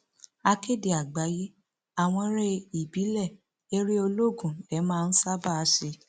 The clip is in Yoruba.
akéde àgbáyé àwọn eré ìbílẹ eré olóògùn lè máa ń ṣààbà ṣe